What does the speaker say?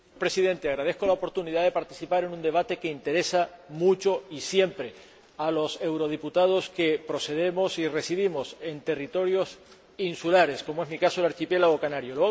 Señor Presidente, agradezco la oportunidad de participar en un debate que interesa mucho y siempre a los eurodiputados que procedemos y residimos en territorios insulares, como es, en mi caso, el archipiélago canario.